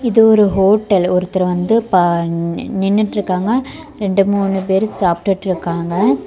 இது ஒரு ஹோட்டல் ஒருத்தர் வந்து பா நின்னுட்டுருக்காங்க ரெண்டு மூணு பேர் சாப்டுட்டுருக்காங்க.